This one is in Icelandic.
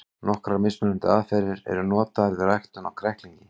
Nokkrar mismunandi aðferðir eru notaðar við ræktun á kræklingi.